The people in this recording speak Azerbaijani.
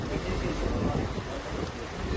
Çox sağ olun, Allah razı olsun.